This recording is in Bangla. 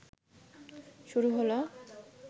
শুরু হলো